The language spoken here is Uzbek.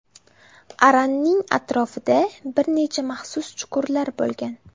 Aranning atrofida bir necha maxsus chuqurlar bo‘lgan.